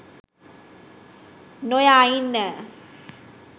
නොයා ඉන්න.